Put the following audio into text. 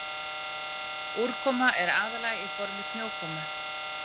Úrkoma er aðallega í formi snjókomu.